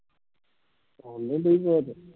ਆਉਣ ਨਹੀਂ ਡਈ ਅਵਾਜ